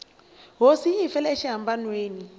hosi yi hi fele exihambanweni